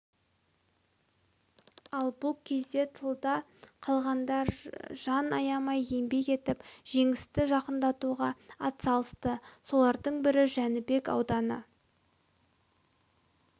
ал бұл кезде тылда қалғандар жан аямай еңбек етіп жеңісті жақындатуға атсалысты солардың бірі жәнібек ауданы